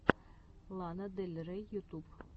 лана дель рей ютуб